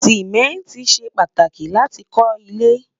simẹnti ṣé pàtàkì láti kò ile